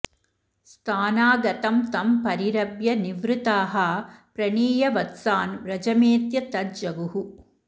स्थानागतं तं परिरभ्य निर्वृताः प्रणीय वत्सान् व्रजमेत्य तज्जगुः